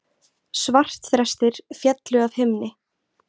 Svartþrestir féllu af himni